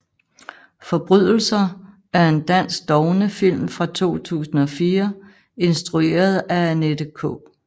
Forbrydelser er en dansk dogmefilm fra 2004 instrueret af Annette K